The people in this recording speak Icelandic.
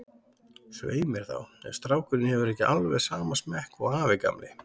Svei mér þá, ef strákurinn hefur ekki alveg sama smekk og afi gamli.